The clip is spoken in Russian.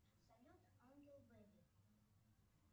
салют ангел бэби